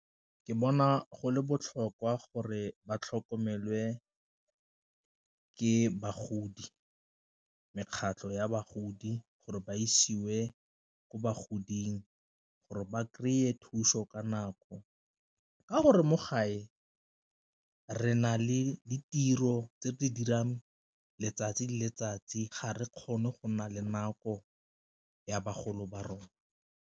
Ke bona go le botlhokwa gore ba tlhokomelwe ka bagodi, mekgatlho ya bagodi gore ba isiwe ko bogoding gore ba kry-e e thuso ka nako, ka gore mo gae re na le ditiro tse di dirang letsatsi le letsatsi ga re kgone go na le nako ya bagolo ba rona.